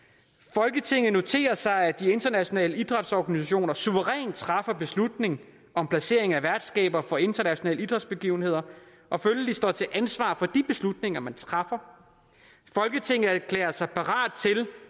folketinget noterer sig at de internationale idrætsorganisationer suverænt træffer beslutning om placering af værtskabet for internationale idrætsbegivenheder og følgelig står til ansvar for de beslutninger man træffer folketinget erklærer sig parat til